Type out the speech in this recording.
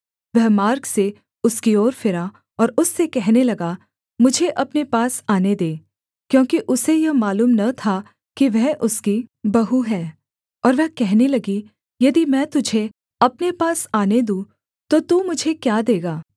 वह मार्ग से उसकी ओर फिरा और उससे कहने लगा मुझे अपने पास आने दे क्योंकि उसे यह मालूम न था कि वह उसकी बहू है और वह कहने लगी यदि मैं तुझे अपने पास आने दूँ तो तू मुझे क्या देगा